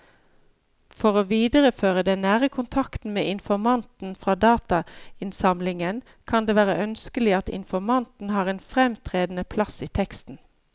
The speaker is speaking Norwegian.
For å videreføre den nære kontakten med informanten fra datainnsamlingen kan det være ønskelig at informanten har en fremtredende plass i teksten.